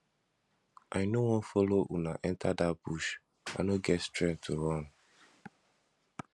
i no wan follow una enter dat bush i no get strength to run